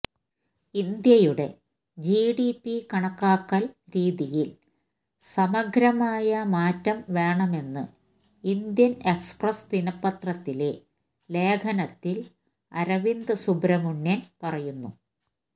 ഇന്ത്യയുടെ ജിഡിപി കണക്കാക്കല് രീതിയില് സമഗ്രമായ മാറ്റം വേണമെന്ന് ഇന്ത്യന് എക്സ്പ്രസ്സ് ദിനപത്രത്തിലെ ലേഖനത്തില് അരവിന്ദ് സുബ്രഹ്മണ്യന് പറയുന്നു